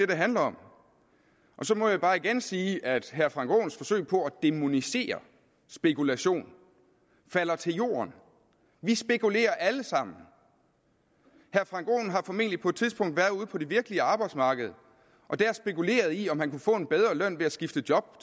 det handler om så må jeg bare igen sige at herre frank aaens forsøg på at dæmonisere spekulation falder til jorden vi spekulerer alle sammen herre frank aaen har formentlig på et tidspunkt været ude på det virkelige arbejdsmarked og dér spekuleret i om han kunne få en bedre løn ved at skifte job